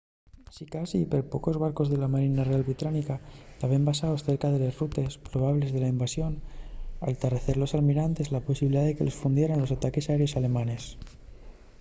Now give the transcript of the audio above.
sicasí perpocos barcos de la marina real británica taben basaos cerca de les rutes probables de la invasión al tarrecer los almirantes la posibilidá de que los fundieran los ataques aéreos alemanes